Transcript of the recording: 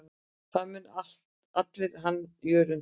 Það muna allir hann Jörund.